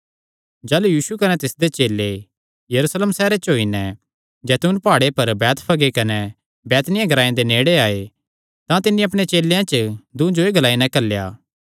जाह़लू यीशु कने तिसदे चेले यरूशलेम सैहरे दे जैतून प्हाड़े पर बैतफगे कने बैतनिय्याह ग्रांऐ दे नेड़े आये तां तिन्नी अपणे चेलेयां च दूँ जो एह़ ग्लाई नैं घल्लेया